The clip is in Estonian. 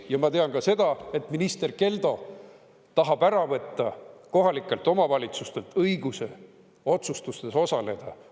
Ja ma tean ka seda, et minister Keldo tahab ära võtta kohalikelt omavalitsustelt õiguse otsustustes osaleda.